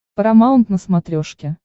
парамаунт на смотрешке